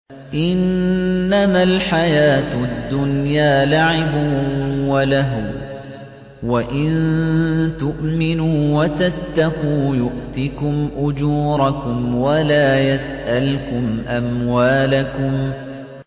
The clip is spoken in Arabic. إِنَّمَا الْحَيَاةُ الدُّنْيَا لَعِبٌ وَلَهْوٌ ۚ وَإِن تُؤْمِنُوا وَتَتَّقُوا يُؤْتِكُمْ أُجُورَكُمْ وَلَا يَسْأَلْكُمْ أَمْوَالَكُمْ